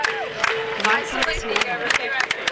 Varð það svo ofan á.